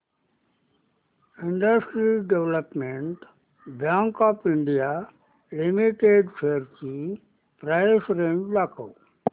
industrial development bank of India limited shares ची price range दाखव